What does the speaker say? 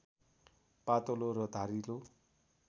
पातलो र धारिलो